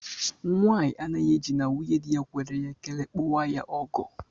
Nwanyi anaghị eji na nwunyedi ya kwere ya ekele kpọwa ya ọgọ